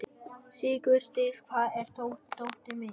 Sigurdís, hvar er dótið mitt?